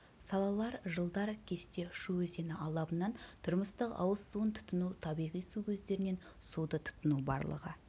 салалар жылдар кесте шу өзені алабынан тұрмыстық ауыз суын тұтыну табиғи су көздерінен суды тұтыну барлығы